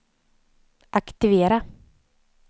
aktivera